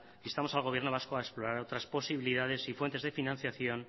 instamos al gobierno vasco a explorar otras posibilidades y fuentes de financiación